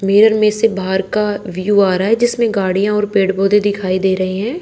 भीड़ में से बाहर का व्यू आ रहा है जिसमें गाड़ियां और पेड़ पौधे दिखाई दे रहे हैं।